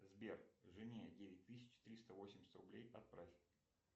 сбер жене девять тысяч триста восемьдесят рублей отправь